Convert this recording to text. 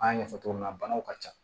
An y'a ɲɛfɔ cogo min na banaw ka ca